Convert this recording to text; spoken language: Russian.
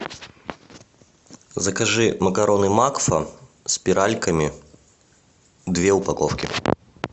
закажи макароны макфа спиральками две упаковки